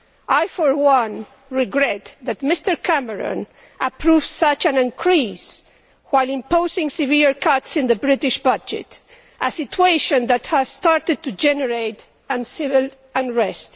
I, for one, regret that Mr Cameron approves such an increase while imposing severe cuts in the British budget, a situation that has started to generate civil unrest.